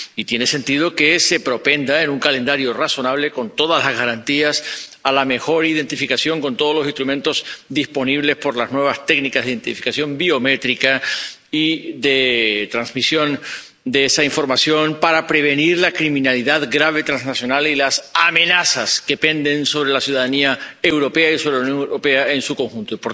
Y tiene sentido que se propenda, con un calendario razonable, con todas las garantías, a la mejor identificación, con todos los instrumentos disponibles por las nuevas técnicas de identificación biométrica y de transmisión de esa información, para prevenir la criminalidad grave transnacional y las amenazas que penden sobre la ciudadanía europea y sobre la Unión Europea en su conjunto.